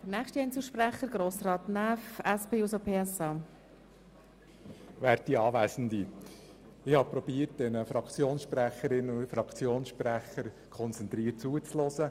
Ich habe versucht, den Fraktionssprecherinnen und Fraktionssprechern konzentriert zuzuhören.